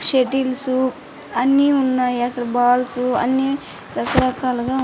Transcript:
shuttles అన్ని ఉన్నాయి అక్కడ బాల్స్ అన్ని రక రకాలుగా ఉ --